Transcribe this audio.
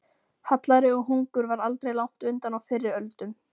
Hallæri og hungur var aldrei langt undan á fyrri öldum.